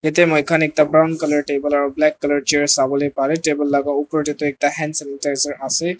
yete moikan ekta brown color table aro black color chair sobalae parae table laka upor de tu ekta hand sanitizer ase.